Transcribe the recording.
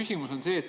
Taas kord.